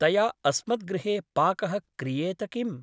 तया अस्मद्गृहे पाकः क्रियेत किम् ?